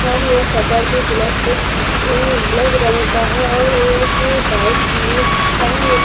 और यहाँ सटर भी ब्लैक ब्लैक रंग का है और यहाँ एक बाइक भी है और--